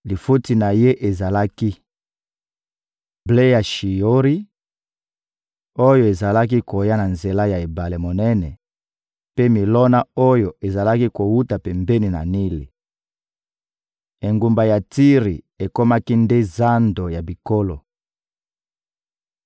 Lifuti na ye ezalaki: ble ya Shiyori, oyo ezalaki koya na nzela ya ebale monene mpe milona oyo ezalaki kowuta pembeni ya Nili. Engumba ya Tiri ekomaki nde zando ya bikolo.